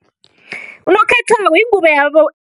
Unokhethwabo yingubo